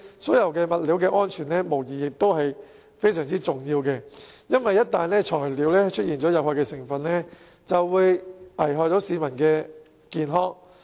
水管物料的安全無疑是相當重要的，因為一旦材料出現有害成分，便會危害市民健康。